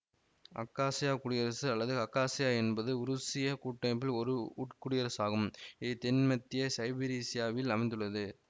acacia குடியரசு அல்லது Khakassia என்பது உருசிய கூட்டமைப்பில் ஓர் உட்குடியரசாகும் இது தென்மத்திய சைபீரிசியாவில் அமைந்துள்ளது